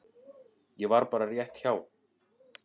Ég var bara rétt hjá.